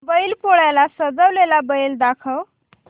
बैल पोळ्याला सजवलेला बैल दाखव